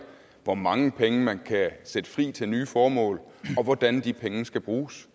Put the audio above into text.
hvor mange penge man kan sætte fri til nye formål og hvordan de penge skal bruges